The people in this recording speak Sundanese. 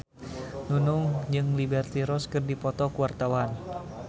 Nunung jeung Liberty Ross keur dipoto ku wartawan